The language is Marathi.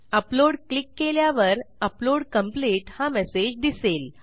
अपलोड क्लिक केल्यावर अपलोड कंप्लीट हा मेसेज दिसेल